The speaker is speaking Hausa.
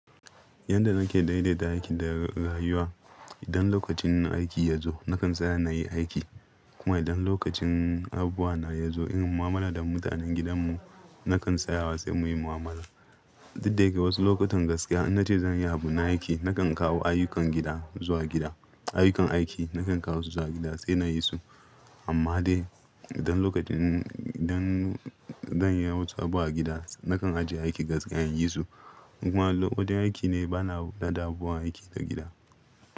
Yanda nake daidaita aiki da rayuwa, idan lokacin aiki ya zo nakan tsaya na yi aiki kuma idan lokacin abubuwa na ya zo irin mu'amala da mutanen gidan mu nakan tsaya wa sai muyi mu'amala. Duk da yake wasu lokutan gaskiya in na ce zan yi abu na aiki nakan kawo ayyukan gida zuwa gida, ayyukan aiki nakan kawo su zuwa gida sai na yi su. Amma dai idan lokacin, idan zan yi wasu abu a gida nakan ajiye aiki gaskiya in yi su. Kuma lokacin aiki ne bana da dumuwa aiki na gida.